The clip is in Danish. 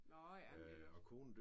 Nåh ja men det da også